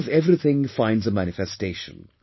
The best of everything finds a manifestation